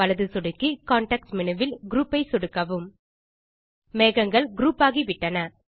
வலது சொடுக்கி context menu வில் குரூப் ஐ சொடுக்கவும் மேகங்கள் குரூப் ஆகிவிட்டன